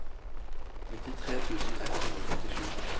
nittitre tusen ett hundre og femtisju